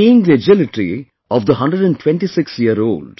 Seeing the agility of the 126yearold,